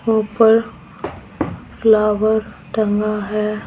ऊपर फ्लावर टंगा है।